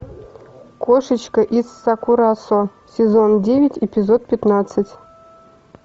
кошечка из сакурасо сезон девять эпизод пятнадцать